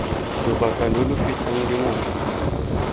lobaka lo lo fetang dingwaga